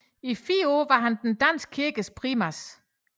I fire år var han den danske kirkes primas